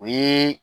O ye